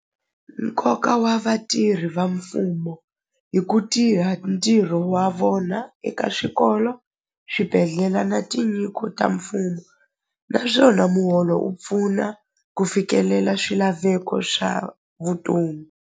Nkoka wa vatirhi va mfumo hi ku tirha ntirho wa vona eka swikolo swibedhlela na tinyiko ta mfumo naswona muholo u pfuna ku fikelela swilaveko swa vutomi.